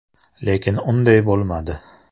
Lekin unday bo‘lmadi.